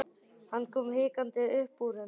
Hann kom hikandi upp úr henni.